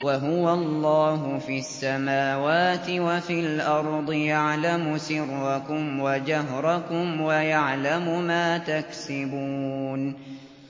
وَهُوَ اللَّهُ فِي السَّمَاوَاتِ وَفِي الْأَرْضِ ۖ يَعْلَمُ سِرَّكُمْ وَجَهْرَكُمْ وَيَعْلَمُ مَا تَكْسِبُونَ